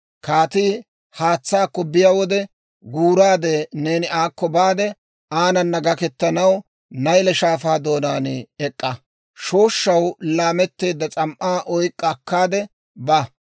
Kaatii haatsaakko biyaa wode, guuraade neeni aakko baade aanana gaketanaw Nayle Shaafaa doonaan ee"a; shooshshaw laametteedda s'am"aa oyk'k'a akkaade ba.